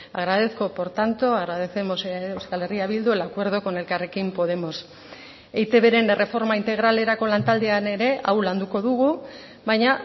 agradezco por tanto agradecemos euskal herria bildu el acuerdo con elkarrekin podemos eitbren erreforma integralerako lantaldean ere hau landuko dugu baina